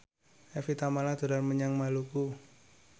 Evie Tamala dolan menyang Maluku